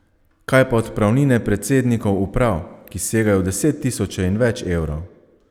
Kaj pa odpravnine predsednikov uprav, ki segajo v deset tisoče in več evrov?